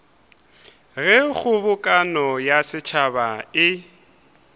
ge kgobokano ya setšhaba e